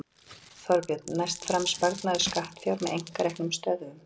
Þorbjörn: Næst fram sparnaður skattfjár með einkareknum stöðvum?